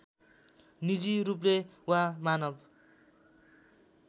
निजी रूपले वा मानव